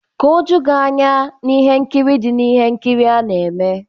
Ka oju gị anya na ihe nkiri dị na ihe nkiri a na-eme.